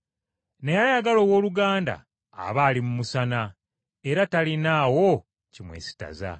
Naye ayagala owooluganda aba ali mu musana, era talinaawo kimwesittaza.